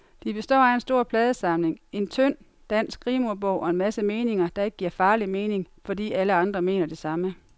De består af en stor pladesamling, en tynd, dansk rimordbog og en masse meninger, der ikke giver farlig mening, fordi alle andre mener det samme.